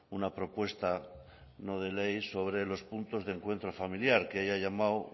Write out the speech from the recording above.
una propuesta no de ley sobre los puntos de encuentro familiar que ella ha llamado